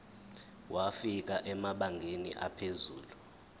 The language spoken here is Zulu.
wafika emabangeni aphezulu